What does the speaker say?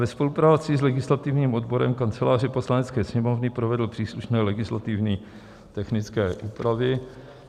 ve spolupráci s legislativním odborem Kanceláře Poslanecké sněmovny provedl příslušné legislativně technické úpravy.